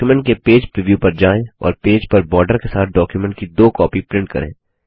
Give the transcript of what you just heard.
document के page preview पर जाएँ और पेज पर बार्डर के साथ डॉक्युमेंट की दो कॉपी प्रिंट करें